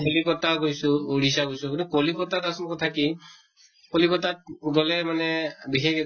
কলিকতা ও গৈছো odisha ও গৈছো । কিন্তু কলিকতা ত আচল কথা কি, কলিকতা ত গʼলে মানে বিশেষ একো